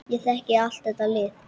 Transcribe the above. Ég þekki allt þetta lið.